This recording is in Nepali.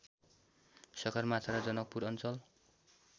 सगरमाथा र जनकपुर अञ्चल